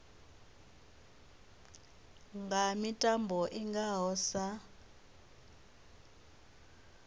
nga mitambo i ngaho sa